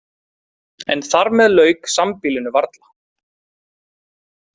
En þar með lauk sambýlinu varla.